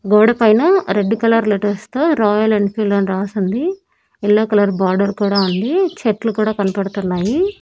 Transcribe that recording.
గోడ పైన red colour letters తో రాయల్ ఎన్ఫీల్డ్ అని రాసుంది యెల్లో కలర్ బార్డర్ కూడా ఉంది చెట్లు కూడా కనపడుతున్నాయి.